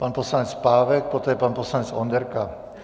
Pan poslanec Pávek, poté pan poslanec Onderka.